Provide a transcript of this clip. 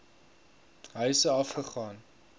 huise af gegaan